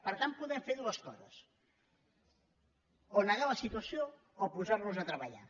per tant podem fer dues coses o negar la situació o posar nos a treballar